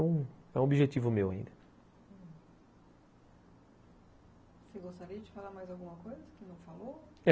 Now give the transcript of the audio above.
É um objetivo meu ainda. Você gostaria de falar mais alguma coisa que não falou?